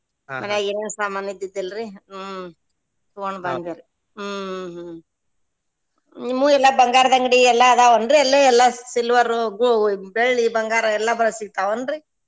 ಮನ್ಯಾಗ್ ಏನು ಸಾಮಾನ್ ಇದ್ದಿದ್ದಿಲ್ರೀ ಹ್ಮ್ ತುಗೊಂಡ್ ಬಂದೆರಿ ಹ್ಮ್ ಹ್ಮ್ ಹ್ಮ್ ನಿಮ್ಮು ಎಲ್ಲಾ ಬಂಗಾರ್ದ ಅಂಗಡಿ ಎಲ್ಲಾ ಅದಾವ್ ಏನ್ರೀ ಅಲ್ಲೆ ಎಲ್ಲಾ silver ರು ಗೊ~ ಬೆಳ್ಳಿ ಬಂಗಾರ ಎಲ್ಲಾ ಬಾಳ ಸಿಗ್ತಾವೇನ್ರೀ?